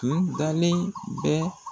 tun dalen bɛ